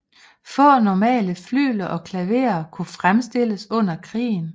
Få normale flygler og klaverer kunne fremstilles under krigen